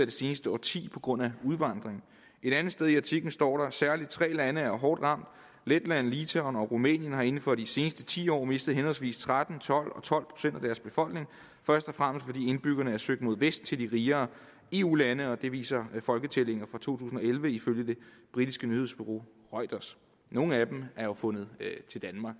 det seneste årti på grund af udvandring et andet sted i artiklen står der særligt tre lande er hårdt ramt letland litauen og rumænien har inden for de seneste ti år mistet henholdsvis tretten tolv og tolv procent af deres befolkning først og fremmest fordi indbyggerne er søgt mod vest til de rigere eu lande det viser folketællinger fra to tusind og elleve ifølge det britiske nyhedsbureau reuters nogle af dem har fundet til danmark